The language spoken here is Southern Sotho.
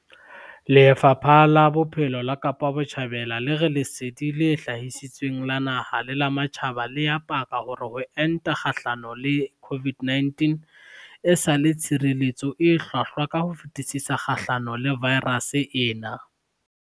Lefapha la Bophelo la Kapa Botjhabela le re lesedi le hatisitsweng la naha le la matjhaba le a paka hore ho enta kgahlano le COVID-19 e sa le tshireletso e hlwahlwa ka ho fetisisa kgahlano le vaerase ena.